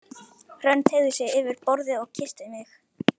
Hrönn teygði sig yfir borðið og kyssti mig.